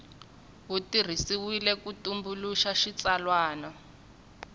wu tirhisiwile ku tumbuluxa xitsalwana